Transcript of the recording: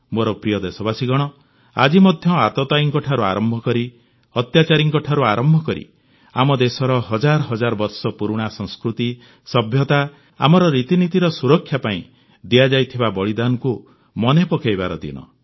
ମୋର ପ୍ରିୟ ଦେଶବାସୀଗଣ ଆଜି ଆତତାୟୀଙ୍କଠାରୁ ଆରମ୍ଭ କରି ଅତ୍ୟାଚାରୀଙ୍କଠାରୁ ଆରମ୍ଭ କରି ଆମ ଦେଶର ହଜାର ହଜାର ବର୍ଷ ପୁରୁଣା ସଂସ୍କୃତି ସଭ୍ୟତା ଆମର ରୀତିନୀତିର ସୁରକ୍ଷା ପାଇଁ ଦିଆଯାଇଥିବା ବଳିଦାନକୁ ମନେ ପକାଇବାର ଦିନ